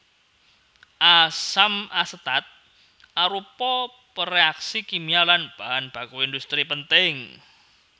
Asam asetat arupa pereaksi kimia lan bahan baku industri penting